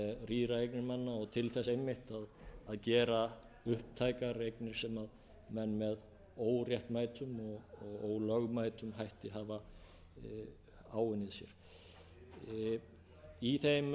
manna og til þess einmitt að gera upptækar eignir sem menn með óréttmætum og ólögmætum hætti hafa á unnið sér í þeim sérstöku aðstæðum sem við erum